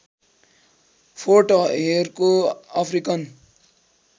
फोर्टहेरको African